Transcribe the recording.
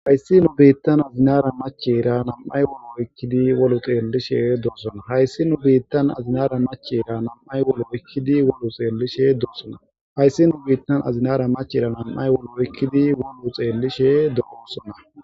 hayssi nu biittan azinara machera nam7ay wolo oykkidi wolu xeellishe doossona hayssi nu biittan azinara machera nam7ay wolo ykkidi wolu xeellishe doossona hayssi nu biittan azinara machera nam7ay wolo oykkidi wolu xeellishe dooosona